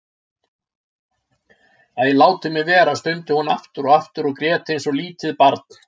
Æ, látið mig vera stundi hún aftur og aftur og grét eins og lítið barn.